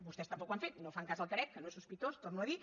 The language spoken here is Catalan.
vostès tampoc ho han fet no fan cas del carec que no és sospitós ho torno a dir